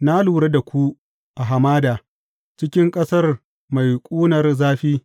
Na lura da ku a hamada, cikin ƙasar mai ƙunar zafi.